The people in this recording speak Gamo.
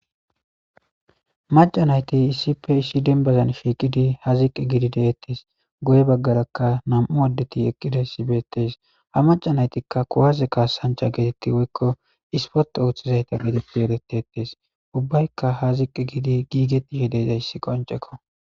Macanayti issipe issi denbazan fiiqidi ha ziqi gidi deettes goye baggarakka nam7u addeti eqqida sibetes ha macanaytikka kuwaze kaassancha geetetti woykko ispote ooththizayta geteppi eretetees ubbaykka ha ziqqi gidi giigeti hedeza issi qoncekko.